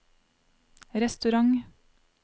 restaurant